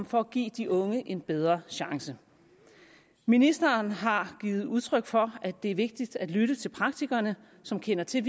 for at give de unge en bedre chance ministeren har givet udtryk for at det er vigtigt at lytte til praktikerne som kender til